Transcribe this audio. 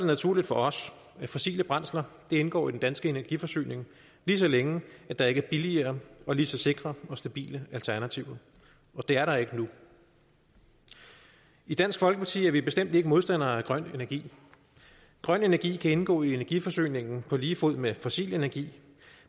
naturligt for os at fossile brændsler indgår i den danske energiforsyning lige så længe der ikke er billigere og lige så sikre og stabile alternativer og det er der ikke nu i dansk folkeparti er vi bestemt ikke modstandere af grøn energi grøn energi kan indgå i energiforsyningen på lige fod med fossil energi